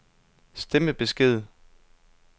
stemmebesked